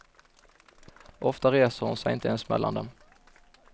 Ofta reser hon sig inte ens mellan dem.